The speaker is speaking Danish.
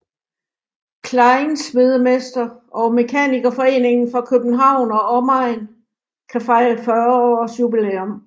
Kleinsmedemester og Mekanikerforeningen for København og Omegn kan fejre 40 års jubilæum